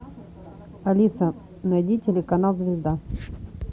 алиса найди телеканал звезда